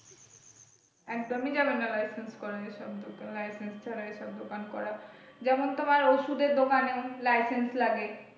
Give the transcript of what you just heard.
একদমই যাবেনা licence করা এসব দোকান licence ছাড়া এসব দোকান করা যেমন তোমার ওষুধের দোকানে licence লাগে।